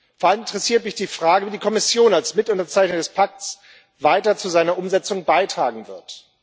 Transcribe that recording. Vor allem interessiert mich die Frage, wie die Kommission als Mitunterzeichner des Pakts weiter zu seiner Umsetzung beitragen wird.